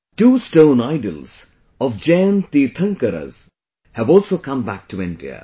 Two stone idols of Jain Tirthankaras have also come back to India